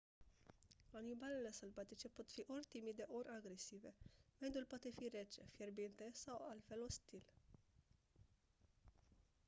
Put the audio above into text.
animalele sălbatice pot fi ori timide ori agresive mediul poate fi rece fierbinte sau altfel ostil